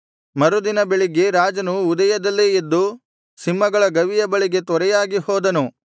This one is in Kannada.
ಮರುದಿನ ಬೆಳಿಗ್ಗೆ ರಾಜನು ಉದಯದಲ್ಲೇ ಎದ್ದು ಸಿಂಹಗಳ ಗವಿಯ ಬಳಿಗೆ ತ್ವರೆಯಾಗಿ ಹೋದನು